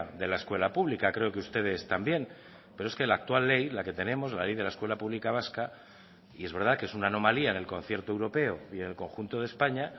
de la escuela pública creo que ustedes también pero es que la actual ley la que tenemos la ley de la escuela pública vasca y es verdad que es una anomalía en el concierto europeo y en el conjunto de españa